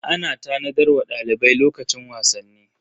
Ana tanadar wa dalibai lokacin wasanni.